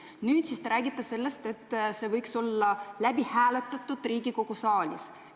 Nüüd te räägite, et see võiks olla läbi hääletatud Riigikogu saalis.